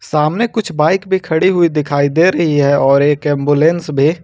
सामने कुछ बाइक भी खड़ी हुई दिखाई दे रही है और एक एंबुलेंस भी।